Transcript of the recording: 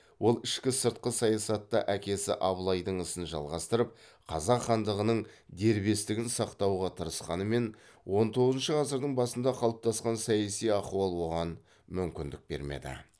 ол ішкі сыртқы саясатта әкесі абылайдың ісін жалғастырып қазақ хандығының дербестігін сақтауға тырысқанымен он тоғызыншы ғасырдың басында қалыптасқан саяси ахуал оған мүмкіндік бермеді